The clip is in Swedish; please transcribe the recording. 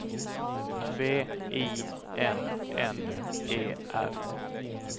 V I N N E R